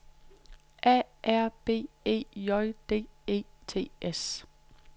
A R B E J D E T S